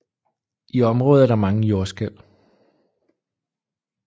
I området er der mange jordskælv